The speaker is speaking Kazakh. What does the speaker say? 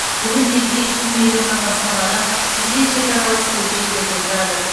бүгінде бес жүз миллионнан астам адам бізбен шекаралас көрші елдерде тұрады